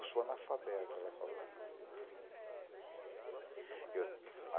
Eu sou analfabeta, ela falou. Eu